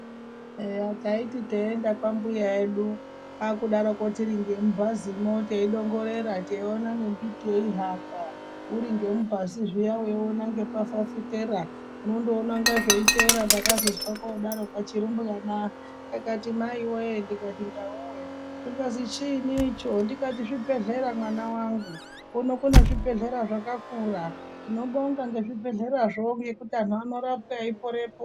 Eya taiti teienda kwambuya edu takudaroko tiri ngemubhazimwo teidongorera teiona ngembiti yeihamba uri ngemubhazi zviya weiona ngepafafitera unondoona inga zveitere ndakazozwa kodaro kachirumbwana kakati maiwoye ndikati ndawowe zvikazi chini icho ndikati zvibhedhlera mwana wangu , kuno kune zvibhedhlera zvakakura. Tinobonga ngezvibhedhlerazvo ngekuti anhu anorapwa eiporepo.